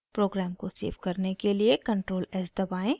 programme को save करने के लिए ctrl + s दबाएं